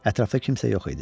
Ətrafda kimsə yox idi.